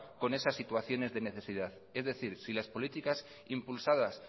con esas situaciones de necesidad es decir si las políticas impulsadas